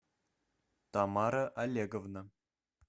тамара олеговна